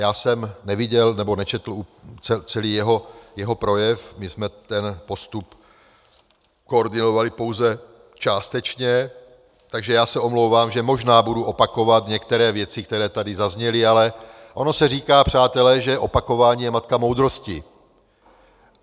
Já jsem neviděl nebo nečetl celý jeho projev, my jsme ten postup koordinovali pouze částečně, takže já se omlouvám, že možná budu opakovat některé věci, které tady zazněly, ale ono se říká, přátelé, že opakování je matka moudrosti.